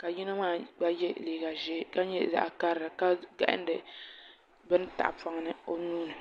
ka yino maa gba yɛ liiga ʒiɛ ka nyɛ karili ka gahandi bini tahapoŋ ni o nuuni